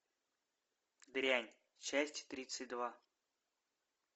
дрянь часть тридцать два